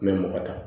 N bɛ mɔgɔ ta